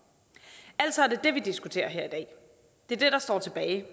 altså det vi diskuterer her i dag det der står tilbage